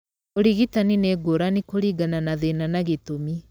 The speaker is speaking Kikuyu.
Ũrigitani nĩ ngũrani kũringana na thĩna na gĩtũmi.